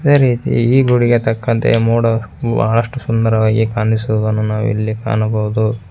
ಈ ಗೋಡೆಗೆ ತಕ್ಕಂತೆ ಮೋಡ ಬಾಳಷ್ಟು ಸುಂದರವಾಗಿ ಕಾಣಿಸುವುದನ್ನು ನಾವು ಇಲ್ಲಿ ಕಾಣಬಹುದು.